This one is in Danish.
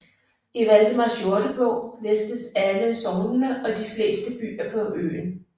I Valdemars Jordebog listes alle sognene og de fleste byer på øen